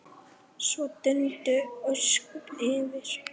Svo dundu ósköpin yfir.